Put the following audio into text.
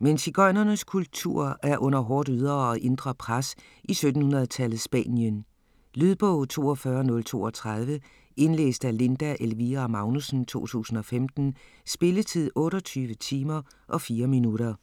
Men sigøjnernes kultur er under hårdt ydre og indre pres i 1700-tallets Spanien. Lydbog 42032 Indlæst af Linda Elvira Magnussen, 2015. Spilletid: 28 timer, 4 minutter.